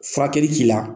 Furakɛli k'i la